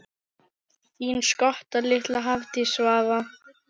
Þín skotta litla, Hafdís Svava.